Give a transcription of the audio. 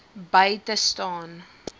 by te staan